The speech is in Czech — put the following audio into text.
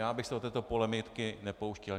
Já bych se do této polemiky nepouštěl.